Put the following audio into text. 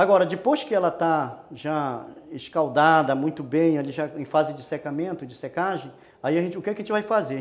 Agora, depois que ela está já escaldada muito bem, ali já em fase de secamento, de secagem, aí a gente, o que que a gente vai fazer?